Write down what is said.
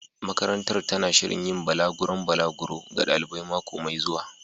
Makarantar tana shirin yin balaguron balaguro ga ɗalibai mako mai zuwa.